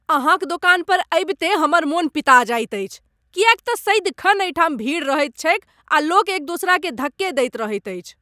अहाँक दोकान पर अबिते हमर मन पिता जाइत अछि किएक तँ सदिखन एहिठाम भीड़ रहैत छैक आ लोक एक दोसराकेँ धक्के दैत रहैत अछि।